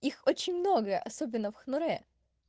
их очень много особенно в хнурэ